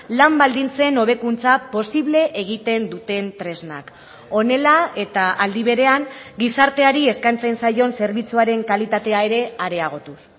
lan baldintzen hobekuntza posible egiten duten tresnak honela eta aldi berean gizarteari eskaintzen zaion zerbitzuaren kalitatea ere areagotuz